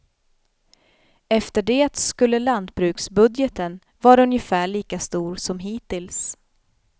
Efter det skulle lantbruksbudgeten vara ungefär lika stor som hittills.